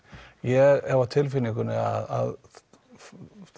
ég hef á tilfinningunni að